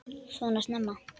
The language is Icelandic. Svona snemma?